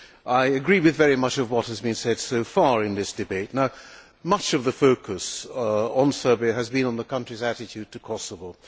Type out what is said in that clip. I agree with very much of what has been said so far in this debate. Much of the focus on Serbia has been on the country's attitude to Kosovo.